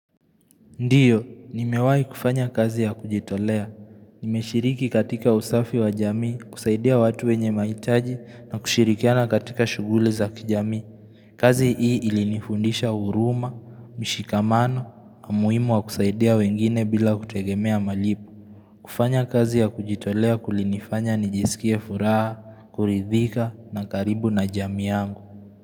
Ndiyo, nimewai kufanya kazi ya kujitolea. Nimeshiriki katika usafi wa jamii, kusaidia watu wenye maitaji na kushirikiana katika shugule za kijamii. Kazi hii ilinifundisha uruma, mishikamano, amuimu wa kusaidia wengine bila kutegemea malipo. Kufanya kazi ya kujitolea kulinifanya nijisikie furaha, kuridhika na karibu na jamii yangu.